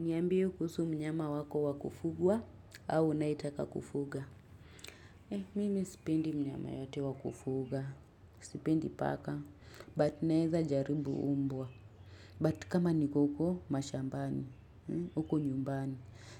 Niambie kuhusu mnyama wako wa kufugwa au unayetaka kufuga. Eh, mimi sipendi mnyama yote wa kufuga. Sipendi paka. But naweza jaribu mbwa. But kama niko huko, mashambani. Huko nyumbani.